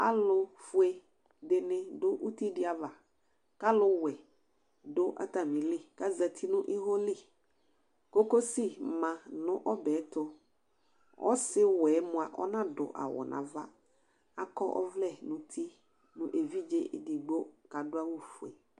Alufʋe dìní du ʋti di ava kʋ aluwɛ du atamìli kʋ azɛti nʋ iwo li Kokosi ma nʋ ɔbɛ yɛ tu Ɔsi ɔwɛ mʋa ɔnadu awu nu ava, akɔ ɔvlɛ nʋ ʋti nʋ evidze ɛdigbo kʋ adu awu fʋe